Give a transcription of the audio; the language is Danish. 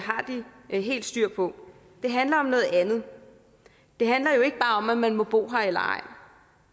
har de helt styr på det handler om noget andet det handler jo ikke bare om om man må bo her eller ej